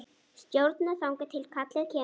Stjórna þangað til kallið kemur.